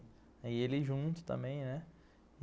E ele junto também.